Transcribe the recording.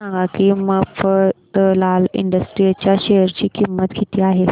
हे सांगा की मफतलाल इंडस्ट्रीज च्या शेअर ची किंमत किती आहे